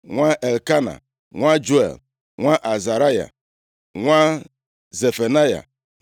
nwa Elkena, nwa Juel, nwa Azaraya, nwa Zefanaya,